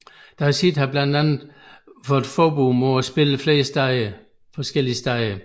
Deicide har blandt andet fået forbud mod at spille flere forskellige steder